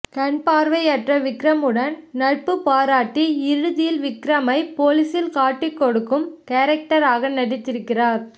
கண்பார்வையற்ற விகரமுடன் நட்பு பாராட்டி இறுதியில் விக்ரமை போலீசில் காட்டி கொடுக்கும் கேரக்டர் ஆக நடித்திருக்கிறார்